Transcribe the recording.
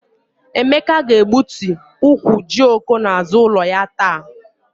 Emeka ga-egbutu ukwu jioko n'azụ ya ụlọ taa.